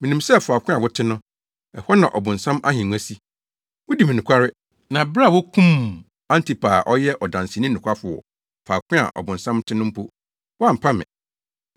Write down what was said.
Minim sɛ faako a wote no, ɛhɔ na ɔbonsam ahengua si. Wudi me nokware; na bere a wokum Antipa a ɔyɛ ɔdanseni nokwafo wɔ faako a ɔbonsam te no mpo, woampa me.